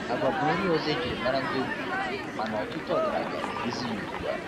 Agwa bụ nri ọzọ e jiri mara ndị ogbenye mana ọtụtụ ọgaranya na-erizi ya ugbu a.